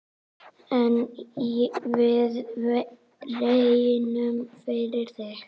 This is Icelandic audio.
En við reynum, fyrir þig.